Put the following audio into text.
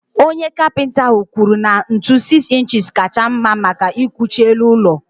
Onye Kapịnta ahụ kwuru na ntu 6 ịnchis kacha mma maka ịkwụchi elu ụlọ.